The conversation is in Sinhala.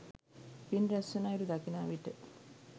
පින් රැස්වන අයුරු දකිනා විට